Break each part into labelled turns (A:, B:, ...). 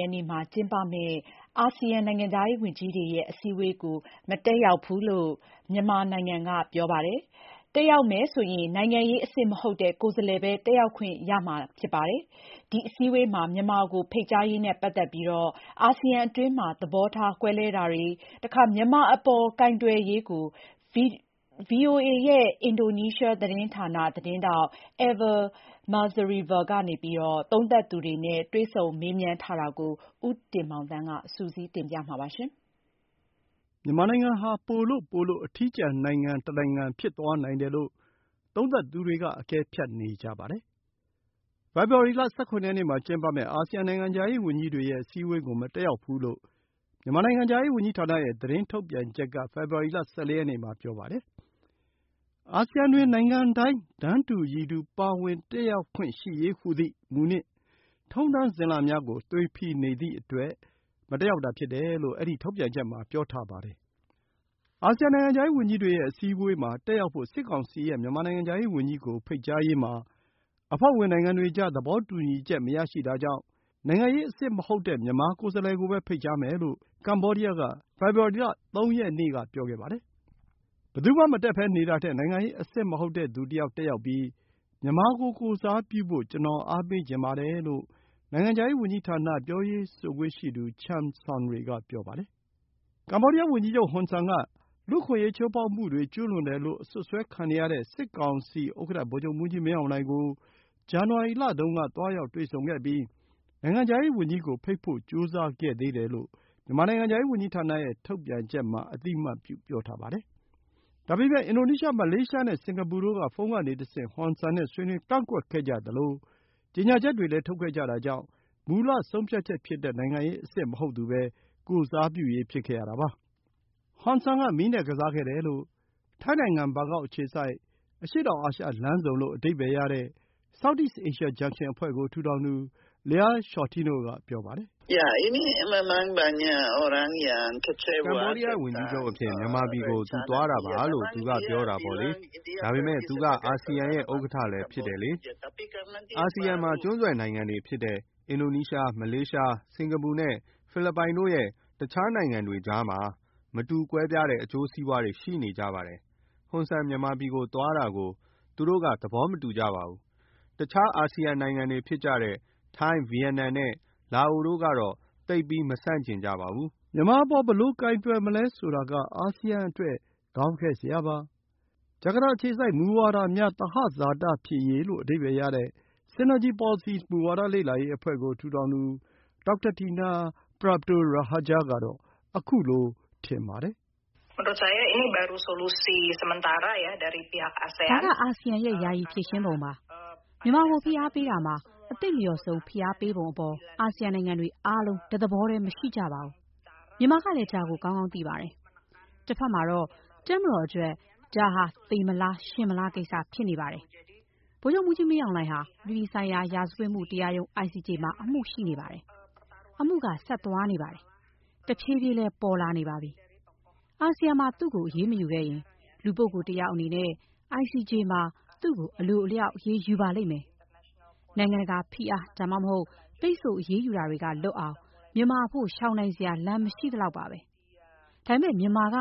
A: ရက်နေ့ မှာ ကျင်းပမယ့် အာဆီယံ နိုင်ငံခြားရေးဝန်ကြီးတွေရဲ့ အစည်းအဝေးကို မတက်ရောက်ဘူးလို့ မြန်မာနိုင်ငံက ပြောပါတယ်။ တက်ရောက်မယ်ဆိုရင်၊ နိုင်ငံရေးအဆင့် မဟုတ်တဲ့ ကိုယ်စားလှယ်ပဲ တက်ရောက်ခွင့်ရမှာ ဖြစ်ပါတယ်။ ဒီအစည်းအဝေးမှာ မြန်မာကို ဖိတ်ကြားရေးနဲ့ ပတ်သက်ပြီး အာဆီယံအတွင်း သဘောကွဲလွဲတာတွေနဲ့ မြန်မာအပေါ် ကိုင်တွယ်ရေးကို ဗွီအိုအေရဲ့ အင်ဒိုနီးရှား သတင်းဌာန သတင်းထောက် Eva Mazrieva က သုံးသပ်သူများနဲ့ တွေ့ဆုံမေးမြန်းခဲ့ပြီး၊ ဦးတင်မောင်သန်း က တင်ပြ
B: ပါလိမ့်မယ်။ မြန်မာနိုင်ငံဟာ ပိုလို့ပိုလို့ အထီးကျန်နိုင်ငံ တနိုင်ငံ ဖြစ်သွားနိုင်တယ်လို့ သုံးသပ်သူတွေက အကဲဖြတ်နေကြပါတယ်။ ဖေဖော်ဝါရီလ ၁၇ ရက်နေ့ မှာ ကျင်းပမယ့် အာဆီယံ နိုင်ငံခြားရေးဝန်ကြီးတွေရဲ့ အစည်းအဝေးကို မတက်ရောက်ဘူးလို့ မြန်မာနိုင်ငံခြားရေးဝန်ကြီးဌာနရဲ့ သတင်းထုတ်ပြန်ချက်က ဖေဖော်ဝါရီလ ၁၄ ရက်နေ့ မှာ ပြောပါတယ်။ “အာဆီယံတွင် နိုင်ငံတိုင်း တန်းတူရည်တူ ပါဝင်တက်ရောက်ခွင့်ရှိရေးဟူသည့် မူ နှင့် ထုံးတမ်းစဉ်လာများကို သွေဖည်နေသည့်အတွက်” မတက်ရောက်တာဖြစ်တယ်လို့ အဲဒီထုတ်ပြန်ချက်မှာ ပြောထားပါတယ်။ အာဆီယံ နိုင်ငံခြားရေးဝန်ကြီးတွေရဲ့ အစည်းအဝေးမှာ တက်ရောက်ဖို့ စစ်ကောင်စီရဲ့ မြန်မာနိုင်ငံခြားရေးဝန်ကြီးကို ဖိတ်ကြားရေးမှာ အဖွဲ့ဝင် နိုင်ငံတွေကြား သဘောတူညီချက် မရရှိတာကြောင့်၊ နိုင်ငံရေးအဆင့် မဟုတ်တဲ့ မြန်မာကိုယ်စားလှယ်ကိုပဲ ဖိတ်ကြားမယ်လို့ ကမ္ဘောဒီးယား က ဖေဖော်ဝါရီလ ၃ ရက်နေ့ က ပြောခဲ့ပါတယ်။ “ဘယ်သူမှ မတက်ဘဲ နေတာထက် နိုင်ငံရေး အဆင့်မဟုတ်တဲ့ သူတယောက် တက်ရောက်ပြီး မြန်မာကို ကိုယ်စားပြုဖို့ ကျွန်တော်အားပေးချင်ပါတယ်” လို့ နိုင်ငံခြားရေးဝန်ကြီးဌာန ပြောရေးဆိုခွင့်ရှိသူ Chum Sounry က ပြောခဲ့ပါတယ်။ ကမ္ဘောဒီးယား ဝန်ကြီးချုပ် ဟွန်ဆန် က လူ့အခွင့်အရေး ချိုးဖောက်မှုတွေ ကျူးလွန်တယ်လို့ အစွပ်စွဲခံနေရတဲ့ စစ်ကောင်စီဥက္ကဌ ဗိုလ်ချုပ်မှူးကြီး မင်းအောင်လှိုင် ကို ဇန်နဝါရီလတုံး က သွားရောက်တွေ့ဆုံခဲ့ပြီး နိုင်ငံခြားရေးဝန်ကြီးကို ဖိတ်ကြားဖို့ ကြိုးစားခဲ့သေးတယ်လို့ မြန်မာနိုင်ငံခြားရေး ဝန်ကြီးဌာန ရဲ့ ထုတ်ပြန်ချက်မှာ အသိအမှတ်ပြု ပြောထားပါတယ်။ ဒါပေမဲ့ အင်ဒိုနီးရှား၊ မလေးရှား နဲ့ စင်္ကာပူ တို့ က ဖုန်းကနေတဆင့် ဟွန်ဆန် နဲ့ ဆွေးနွေး ကန့်ကွက်ခဲ့ကြသလို ကြေညာချက်တွေလည်း ထုတ်ခဲ့ကြတာကြောင့် မူလဆုံးဖြတ်ချက် ဖြစ်တဲ့ နိုင်ငံရေး အဆင့် မဟုတ်သူပဲ ကိုယ်စားပြုရေး ဖြစ်ခဲ့ရတာပါ။ ဟွန်ဆန် က မီး နဲ့ ကစားခဲ့တယ်လို့ ထိုင်းနိုင်ငံ၊ ဘန်ကောက် အခြေစိုက် အရှေ့တောင်အာရှလမ်းဆုံ လို့ အဓိပ္ပါယ်ရတဲ့ South East Asia Junction အဖွဲ့ ကို ထူထောင်သူ Lia Sciortino က ပြောပါတယ်။ “ကမ္ဘောဒီးယား ဝ
C: န်ကြီးချုပ် အဖြစ် မြန်မာပြည်ကို သူသွားတာပါလို့ သူက ပြောတာပေါ့လေ။ ဒါပေမဲ့ သူ အာဆီယံရဲ့ ဥက္ကဌလည်း ဖြစ်တယ်လေ။ အာဆီယံ မှာ ကျွန်းဆွယ်နိုင်ငံတွေ ဖြစ်တဲ့ အင်ဒိုနီးရှား၊ မလေးရှား၊ စင်္ကာပူ နဲ့ ဖိလစ်ပိုင် တို့ ရဲ့ တခြား နိုင်ငံတွေကြားမှာ မတူကွဲပြားတဲ့ အကျိုးစီးပွါးတွေ ရှိနေကြပါတယ်။ ဟွန်ဆန် မြန်မာပြည်ကို သွားတာကို သူတို့က သဘောမတူကြပါဘူး။ တခြား အာဆီယံနိုင်ငံတွေ ဖြစ်ကြတဲ့ ထိုင်း၊ ဗီယက်နမ်နဲ့ လာအိုတို့ကတော့ သိပ်ကြီး မဆန့်ကျင်ကြပါဘူး။” မြ
B: န်မာအပေါ် ဘယ်လို
C: ကိုင်တွယ်မလဲဆိုတာက
B: အာဆီယံ အတွက် ခေါင်းခဲစရာပါ။ ဂျာကာတာ အခြေစိုက် မူဝါဒများ သဟဇာတဖြစ်ရေးလို့ အဓိပ္ပါယ်ရတဲ့ Synergy Policies မူဝါဒ လေ့လာရေးအဖွဲ့ကို ထူထောင်သူ Dr. Dina Prapto Raharja ကတော့ ခုလို ထင်ပါတယ်။
A: “ဒါက အာဆီယံရဲ့ ယာယီဖြေရှင်းပုံပါ။ မြန်မာကို ဖိအားပေးရာမှာ အသင့်လျော်ဆုံး ဖိအားပေးပုံအပေါ် အာဆီယံနိုင်ငံတွေ အားလုံး တသဘောတည်း မရှိကြပါဘူး။ မြန်မာကလည်း ဒါ ကို ကောင်းကောင်းသိပါတယ်။ တစ်ဖက်မှာတော့ တပ်မတော်အတွက် ဒါဟာသေမလား၊ ရှင်မလားကိစ္စ ဖြစ်နေပါတယ်။ ဗိုလ်ချုပ်မှူးကြီး မင်းအောင်လှိုင် ဟာ အပြည်ပြည်ဆိုင်ရာ ရာဇဝတ်မှု တရားရုံး ICJ မှာ အမှုရှိနေပါတယ်။ အမှုက ဆက်သွားနေပါတယ်။ တဖြည်းဖြည်းလည်း ပေါ်လာနေပါပြီ။ အာဆီယံမှာ သူကို အရေးမယူခဲ့ရင်၊ လူပုဂ္ဂိုလ် တစ်ယောက်အနေနဲ့ အိုင်စီဂျေ မှာ သူ့ကို အလိုအလျောက် အရေးယူပါလိမ့်မယ်။ နိုင်ငံတကာဖိအား ဒါမှမဟုတ် ပိတ်ဆို့ အရေးယူတာတွေက လွတ်အောင် မြန်မာအဖို့ ရှောင်နိုင်စရာလမ်း မရှိသလောက်ပါပဲ။ ဒါပေမဲ့ မြန်မာက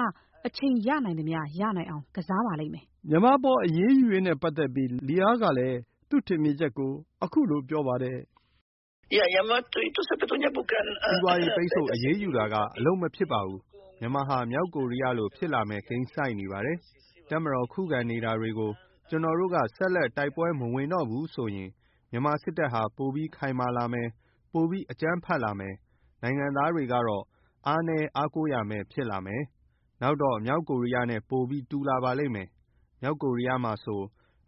A: အချိန်ရနိုင်သမျှ ရနိုင်အောင် ကစားပါလိမ့်မယ်။
B: ” မြန်မာ အပေါ် အရေးယူရေး နဲ့ ပတ်သက်ပြီး Lia ကလည်း
C: သူ့ ထင်မြင်ချက် ကို ခုလို ပြောပါတယ်။ “စီးပွါးရေးပိတ်ဆို့ အရေးယူတာက အလုပ်မဖြစ်ပါဘူး။ မြန်မာဟာ မြောက်ကိုရီးယား လို ဖြစ်လာမယ့် ကိန်းဆိုက်နေပါတယ်။ တပ်မတော် ခုခံနေတာတွေကို ကျွန်တော်တို့ က ဆက်လက် တိုက်ပွဲမဝင်တော့ဘူးဆိုရင်၊ မြန်မာစစ်တပ်ဟာ ပိုပြီးခိုင်မာလာမယ်။ ပိုအကြမ်းဖက်လာမယ်။ နိုင်ငံသားတွေကတော့ အားနည်း၊ အားကိုးရာမဲ့ ဖြစ်လာမယ်။ နောက်တော့ မြောက်ကိုရီးယားနဲ့ ပိုပြီးတူလာပါလိမ့်မယ်။ မြောက်ကိုရီးယားမှာဆို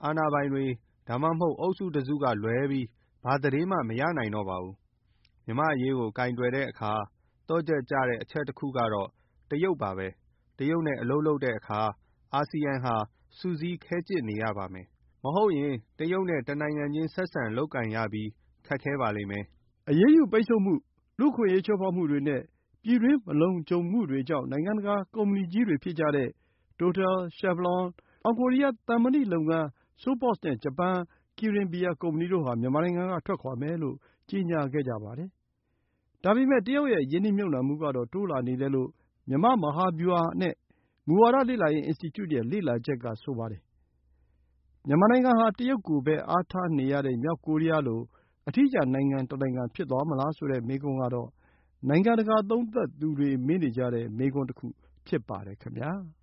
C: အာဏာပိုင်တွေ ဒါမှမဟုတ် အုပ်စုတစုကလွဲပြီး ဘာသတင်းမှ မရနိုင်တော့ဘူး။ မြန်မာအရေးကို ကိုင်တွယ်တဲ့အခါ သော့ချက်ကျတဲ့ အချက်တခုကတော့ တရုတ်ပါပဲ။ တရုတ်နဲ့ အလုပ်လုပ်တဲ့အခါ အာဆီယံဟာ စုစည်းခဲကျစ်နေရပါမယ်။ မဟုတ်ရင်၊ တရုတ်နဲ့ တနိုင်ငံချင်း ဆက်ဆံလုပ်ကိုင်ရပြီး ခက်ခဲပါလိမ့်မယ်။” အရေးယူ ပိတ်ဆို့မှု၊ လူ့အခွင့်အရေး ချိုးဖောက်မှုတွေနဲ့ ပြည်တွင်း မလုံခြုံမှုတွေကြောင့် နိုင်ငံတကာ ကုမ္ပဏီကြီးတွေ ဖြစ်ကြတဲ့
B: တိုတယ်၊ ရှယ်ဗလွန်၊ တောင်ကိုရီးယား သံမဏိလုပ်ငန်း SOPOS နဲ့ ဂျပန် ကီရင်ဘီယာ ကုမ္ပဏီတို့ဟာ မြန်မာနိုင်ငံက ထွက်ခွါမယ်လို့ ကြေညာခဲ့ကြပါတယ်။ ဒါပေမဲ့ တရုတ်ရဲ့ ရင်းနှီးမြှုပ်နှံမှုကတော့ တိုးလာနေတယ်လို့ မြန်မာ့ မဟာဗျူဟာနဲ့ မူဝါဒ လေ့လာရေး အင်စတီကျု ရဲ့ လေ့လာချက် က ဆိုပါတယ်။ မြန်မာနိုင်ငံဟာ တရုတ်ကိုပဲ အားထားနေရတဲ့ မြောက်ကိုရီးယားလို အထီးကျန်နိုင်ငံတနိုင်ငံ ဖြစ်သွားမလားဆိုတဲ့ မေးခွန်းကတော့ နိုင်ငံတကာ သုံးသပ်သူတွေ မေးနေကြတဲ့ မေးခွန်းတခု ဖြစ်ပါတယ်ခင်ဗျာ။